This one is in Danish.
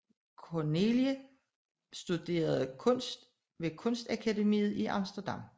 Corneille studerede kunst ved Kunstakademiet i Amsterdam